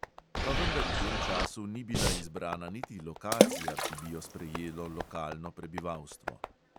Pa vendar v tem času ni bila izbrana niti lokacija, ki bi jo sprejelo lokalno prebivalstvo.